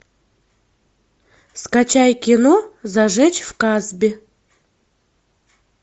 скачай кино зажечь в касбе